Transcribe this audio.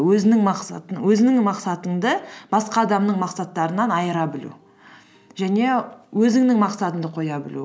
өзіңнің мақсатыңды басқа адамның мақсаттарынан айыра білу және өзіңнің мақсатыңды қоя білу